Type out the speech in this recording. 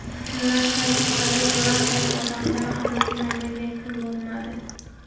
Shundan so‘ng kasallik birontayam odamda aniqlanmagan kun bo‘lmadi.